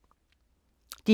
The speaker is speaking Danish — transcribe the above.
DR K